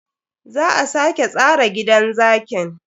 Za a sake tsara gidan zakin.